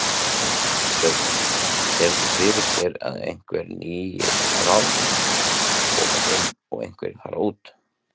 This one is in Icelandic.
Sveinn: Sérðu fyrir þér að einhver nýir ráðherrar koma inn og einhverjir fara út?